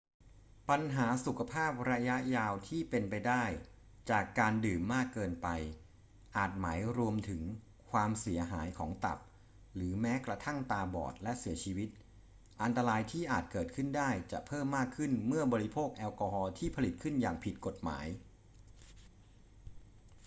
ปัญหาสุขภาพระยะยาวที่เป็นไปได้จากการดื่มมากเกินไปอาจหมายรวมถึง ความเสียหายของตับ หรือแม้กระทั่งตาบอดและเสียชีวิต อันตรายที่อาจเกิดขึ้นได้จะเพิ่มมากขึ้นเมื่อบริโภคแอลกอฮอล์ที่ผลิตขึ้นอย่างผิดกฎหมาย